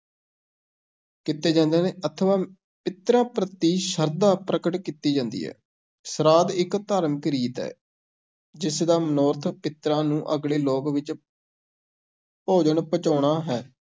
ਕੀਤੇ ਜਾਂਦੇ ਹਨ ਅਥਵਾ ਪਿੱਤਰਾਂ ਪ੍ਰਤੀ ਸ਼ਰਧਾ ਪ੍ਰਗਟ ਕੀਤੀ ਜਾਂਦੀ ਹੈ, ਸ੍ਰਾਧ ਇੱਕ ਧਾਰਮਿਕ ਰੀਤ ਹੈ, ਜਿਸ ਦਾ ਮਨੋਰਥ ਪਿੱਤਰਾਂ ਨੂੰ ਅਗਲੇ ਲੋਕ ਵਿੱਚ ਭੋਜਨ ਪਹੁੰਚਾਉਣਾ ਹੈ।